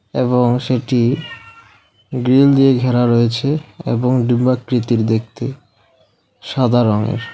এবং সেটি গ্রিল দিয়ে ঘেরা রয়েছে এবং ডিম্বাকৃতির দেখতে সাদা রংয়ের।